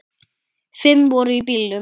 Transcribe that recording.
Fimm voru í bílnum.